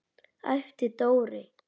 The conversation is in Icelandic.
æpti Dóri.